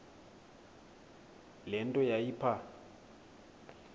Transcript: le nto yayipha